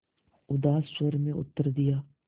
उदास स्वर में उत्तर दिया